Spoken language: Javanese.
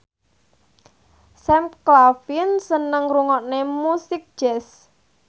Sam Claflin seneng ngrungokne musik jazz